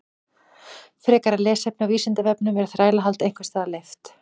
Frekara lesefni á Vísindavefnum: Er þrælahald einhvers staðar leyft?